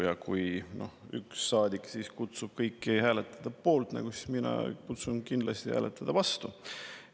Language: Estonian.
Ja kui üks saadik kutsub kõiki hääletama poolt, siis mina kutsun kindlasti hääletama vastu.